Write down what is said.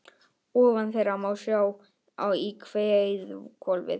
Ofan þeirra má sjá í heiðhvolfið.